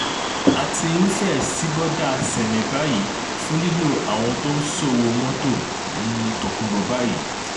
a ti um fẹ́ẹ̀ ṣí bọ́dà sámé báyìí fún lílo àwọn tó ń ṣòwò mọ́tò um tókùnbọ̀ báyìí